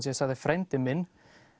ég sagði frændi minn